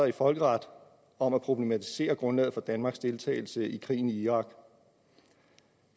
i folkeret om at problematisere grundlaget for danmarks deltagelse i krigen i irak